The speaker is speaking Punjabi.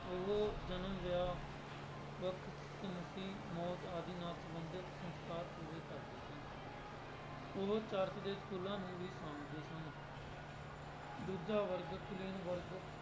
ਉਹ ਜਨਮ ਵਿਆਹ ਵੱਖ ਮੌਤ ਆਦਿ ਨਾਲ ਸੰਬੰਧਿਤ ਸੰਸਕਾਰ ਪੂਰੇ ਕਰਦੇ ਸਨ ਉਹ ਚਰਚ ਦੇ ਸਕੂਲਾਂ ਨੂੰ ਵੀ ਸਾਂਭਦੇ ਸਨ ਦੂਜਾ ਵਰਗ ਕੁਲੀਨ ਵਰਗ